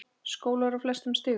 Skólar á flestum stigum.